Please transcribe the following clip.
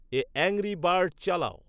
এ angry bird চালাও